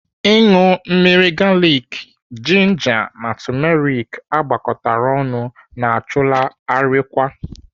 Ịṅụ mmiri galiki, jinja na tumeriki agwakọtara ọnụ na-achụlaa arịkwa.